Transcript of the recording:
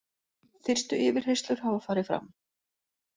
Fyrstu yfirheyrslur hafa farið fram.